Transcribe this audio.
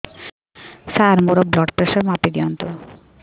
ସାର ମୋର blood pressure ମାପି ଦିଅନ୍ତୁ